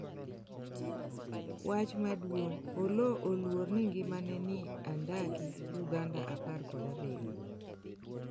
wach maduong' : Oloo oluor ni ngimane ni e andaki Uganda apr kod abiriyo